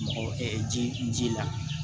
Mɔgɔ ji n ji la